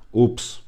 Ups!